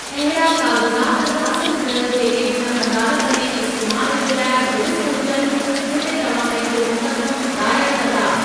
अहिड़ा काग़ज़ात हासिलु कयो जेके हुन अदालत में इस्तैमालु जे लाइ दुरुस्त हुजनि जिते तव्हां पंहिंजो मुकदमो दायर कंदा।